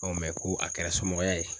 ko a kɛra somɔgɔya ye